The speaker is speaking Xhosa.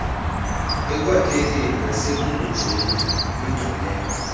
ekwakhekeni nasekubunjweni kwingqaleko